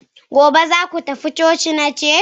gobe zaku tafi coci, nace!